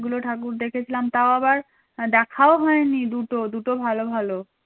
অনেকগুলো ঠাকুর দেখেছিলাম তাও আবার দেখাও হয়নি দুটো দুটো ভালো ভালো